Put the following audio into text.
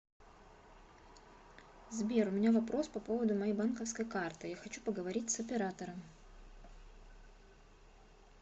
сбер у меня вопрос по поводу моей банковской карты я хочу поговорить с оператором